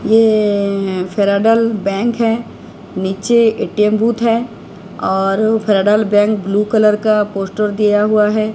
यें Federal Bank हैं नीचे एटीएम बूथ है और फेडरल बैंक ब्लू कलर का पोस्टर दिया हुआ हैं।